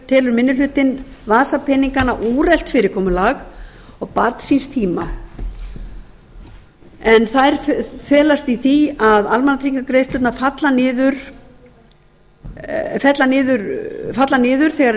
telur minni hlutinn vasapeningana úrelt fyrirkomulag og barn síns tíma en þær felast í því að almannatryggingagreiðslurnar falla niður þegar lífeyrisþegi flytur inn